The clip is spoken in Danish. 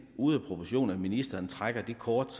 ude af proportion at ministeren trækker det kort